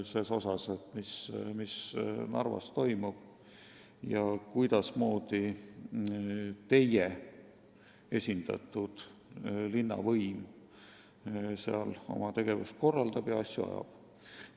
Nad peaksid häbenema seda, mis Narvas toimub ja kuidas keskerakondlik linnavõim seal oma tegevust korraldab ja asju ajab.